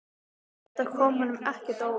Þetta kom honum ekkert á óvart.